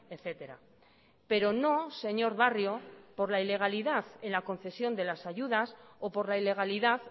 etcétera pero no señor barrio por la ilegalidad en la concesión de las ayudas o por la ilegalidad